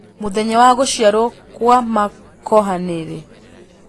mũthenya wa gũcĩarwo gwa makokha nĩ rĩ